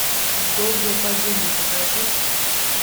долгое падение покажи